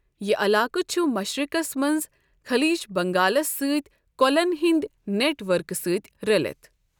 یہ علاقہٕ چھُ مشرقس منٛز خلیج بنگالس سۭتۍ کۄلَن ہنٛدۍ نیٹ ورکہٕ سۭتۍ رٔلِتھ۔ ۔